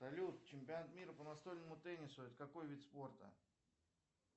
салют чемпионат мира по настольному теннису это какой вид спорта